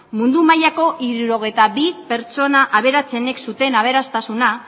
mundu mailako hirurogeita bi pertsona aberatsenek zuten aberastasuna